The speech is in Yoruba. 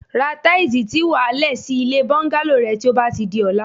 Ra táìsì tí wà á le̩ sí ilé bó̩ńgálò re̩ ti ó bá ti di o̩la